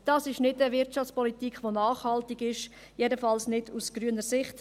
Dies ist nicht eine nachhaltige Wirtschaftspolitik, jedenfalls nicht aus grüner Sicht.